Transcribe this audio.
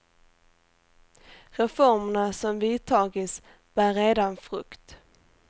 Reformerna som vidtagits bär redan frukt.